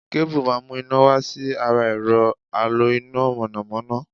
Kébù má mu ́ iná wá sí ara ẹ̀rọ̀ alo iná mọ̀nàmọ́ná.